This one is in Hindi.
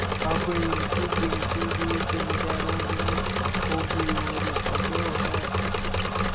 अब इनकी गिनती भी जमींदारों में होगी और सम्भव है